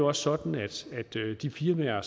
også sådan at de firmaer